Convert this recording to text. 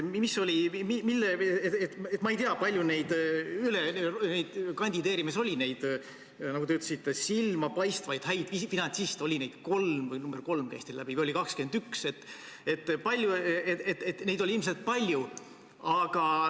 Ma ei tea, kui palju neid, nagu te ütlesite, silmapaistvalt häid finantsiste kandideerimas oli – oli neid kolm, see arv käis teie jutust läbi, või oli neid 21 –, ilmselt oli neid palju.